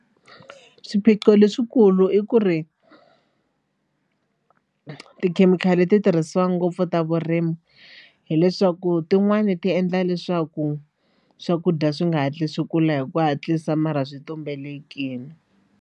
Swiphiqo leswikulu i ku ri tikhemikhali ti tirhisiwa ngopfu ta vurimi hileswaku tin'wani ti endla leswaku swakudya swi nga hatli swi kula hi ku hatlisa mara swi tumbelekile.